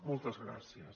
moltes gràcies